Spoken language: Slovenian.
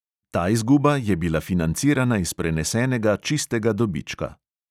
Ta izguba je bila financirana iz prenesenega čistega dobička.